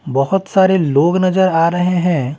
बहुत सारे लोग नजर आ रहे हैं।